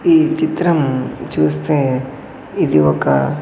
ఈ చిత్రం చూస్తే ఇది ఒక.